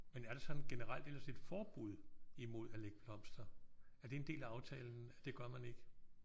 Men er der sådan generelt ellers et forbud imod at lægge blomster? Er det en del af aftalen at det gør man ikke?